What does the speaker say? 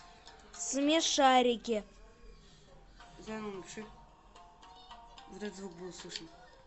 смешарики